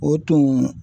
O tun